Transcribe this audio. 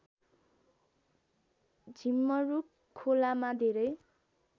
झिमरुक खोलामा धेरै